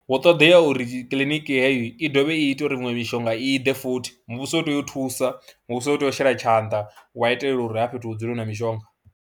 Hu ṱoḓea uri kiḽiniki heyo i ḓovhe i ite uri miṅwe mishonga i ḓe futhi muvhuso u tea u thusa, muvhuso u tea u shela tshanḓa wa itela uri hafha fhethu hu dzule hu na mishonga.